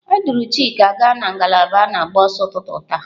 A duru Chika gaa na ngalaba na-agba ọsọ n'ụtụtụ taa.